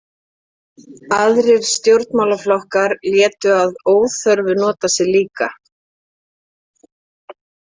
Aðrir stjórnmálaflokkar létu að óþörfu nota sig líka.